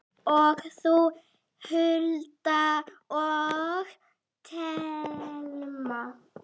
Ég, þú, Hulda og Telma.